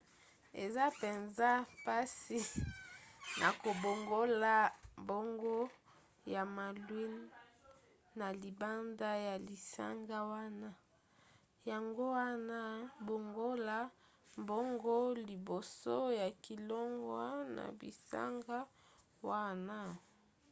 eza mpenza mpasi na kobongola mbongo ya malouines na libanda ya bisanga wana yango wana bongola mbongo liboso ya kolongwa na bisanga wana